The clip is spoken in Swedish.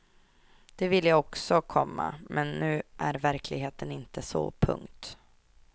Det vill jag också, komma men nu är verkligheten inte så. punkt